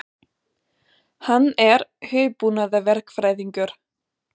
Hann er hugbúnaðarverkfræðingur.